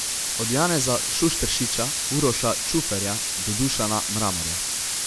Od Janeza Šušteršiča, Uroša Čuferja do Dušana Mramorja.